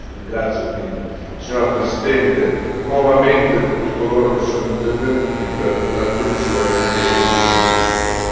Ringrazio quindi, Signora Presidente, nuovamente tutti coloro che sono intervenuti per l'attenzione e il contributo.